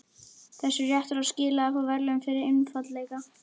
Þessi réttur á skilið að fá verðlaun fyrir einfaldleika.